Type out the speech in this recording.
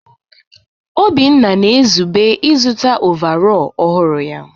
Obinna na-ezube ịzụta ọvarọọr ọhụrụ ya.